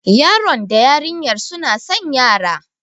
Yaron da yarinyar suna san yara.